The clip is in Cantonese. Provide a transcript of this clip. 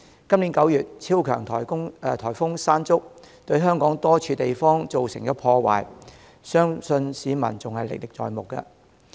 今年9月，超強颱風"山竹"對香港多處地方造成破壞，相信市民仍歷歷在目。